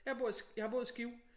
Jeg bor i jeg har boet i Skive